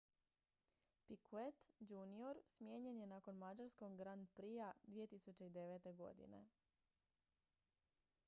picquet jr smijenjen je nakon mađarskog grand prixa 2009. godine